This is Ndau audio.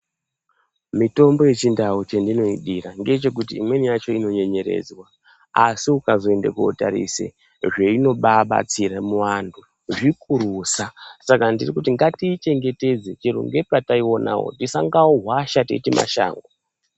Mitombo yechintau chandinoidira ndechekuti imweni yacho inonyenyeredzwa asi ukazoende kunotarise zveinobabatsire muvantu zvikurusa saka ndirikuti ngatiichengetedze chero pataiwonawo tisangohwasha teiti mashango.